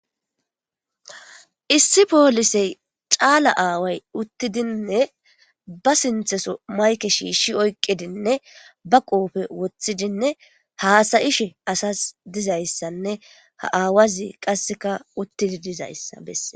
Issi poolisey caala aaway uttidinne ba sintheso mayke shiishshi oyqidinne ba qoofe woththidinne haasayishe asas dizayssanne ha aawazi qasseka uttidi dizayssa besse.